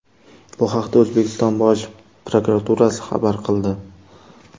Bu haqda O‘zbekiston Bosh prokuraturasi xabar qildi .